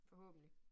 Forhåbentlig